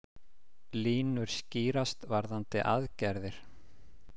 Línur skýrast varðandi aðgerðir